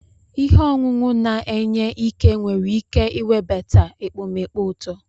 Ihe ọṅụṅụ na-enye ike nwere ike iwebata ekpomeekpo uto.